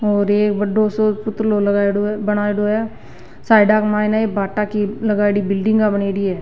और एक बड़ो सो पुतलो लगाएड़ो बनाईडो है साइडा में भाटा की लगायेड़ी बिलडिंग बनाएडी है।